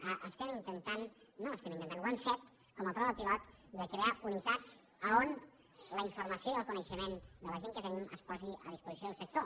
no estem intentant ho hem fet com a prova pilot de crear unitats a on la informació i el coneixement de la gent que tenim es posi a disposició del sector